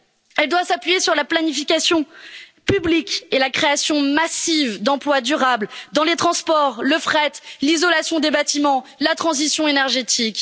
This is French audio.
Elle doit s'appuyer sur la planification publique et la création massive d'emplois durables dans les transports, le fret, l'isolation des bâtiments et la transition énergétique.